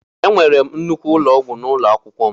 Enwere m nnukwu ụlọ ọgwụ n'ụlọ akwụkwọ m.